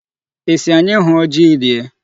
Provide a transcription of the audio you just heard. Ị sị anyị hụọ ji rie?